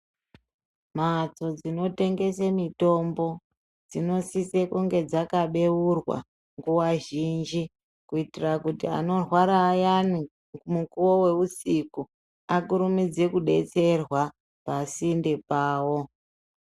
Mhatso dzinotengese mitombo dzinosise kunge dzakabeurwa nguwa zhinji kuitira kuti anorwara ayana mukowe weusiku vasise kubetserwa pasinde pavo .